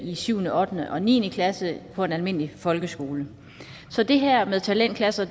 i 7 ottende og niende klasse på en almindelig folkeskole så det her med talentklasser